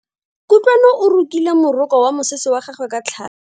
Kutlwano o rokile moroko wa mosese wa gagwe ka tlhale.